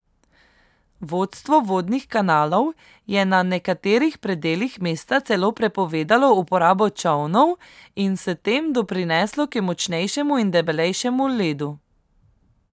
Vodstvo vodnih kanalov je na nekaterih predelih mesta celo prepovedalo uporabo čolnov in s tem doprineslo k močnejšemu in debelejšemu ledu.